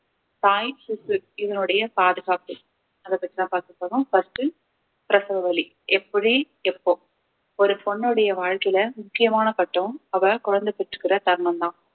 தாய் சிசு இதனுடைய பாதுகாப்பு அதை பத்திதான் பார்க்கப் போறோம் first பிரசவ வலி எப்படி எப்போ ஒரு பொண்ணுடைய வாழ்க்கையில முக்கியமான கட்டம் அவ குழந்தை பெற்றுகர தருணம் தான்